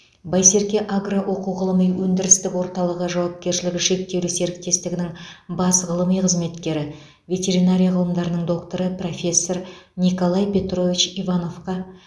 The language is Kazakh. байсерке агро оқу ғылыми өндірістік орталығы жауапкершілігі шектеулі серіктестігінің бас ғылыми қызметкері ветеринария ғылымдарының докторы профессор николай петрович ивановқа